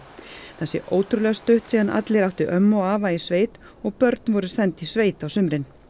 það sé ótrúlega stutt síðan allir áttu ömmu og afa í sveit og börn voru send í sveit á sumrin